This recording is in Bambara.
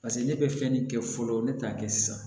Paseke ne bɛ fɛn ne kɛ fɔlɔ ne t'a kɛ sisan